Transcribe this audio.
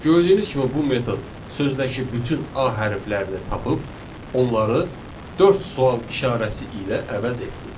Gördüyünüz kimi, bu metod sözdəki bütün a hərflərini tapıb, onları dörd sual işarəsi ilə əvəz etdi.